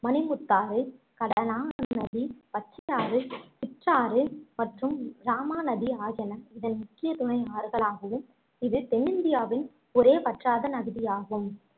மணிமுத்தாறு, கடனா நதி, பச்சையாறு, சிற்றாறு மற்றும் இராமா நதி ஆகியன இதன் முக்கிய துணை ஆறுகளாகவும் இது தென்னிந்தியாவின் ஒரே வற்றாத நதியாகும்